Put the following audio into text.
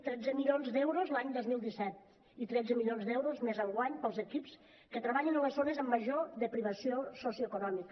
tretze milions d’euros l’any dos mil disset i tretze milions d’euros més enguany per als equips que treballen en les zones amb major privació socioeconòmica